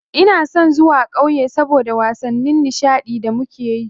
Ina son zuwa ƙauye saboda wasanni nishaɗi da muke yi.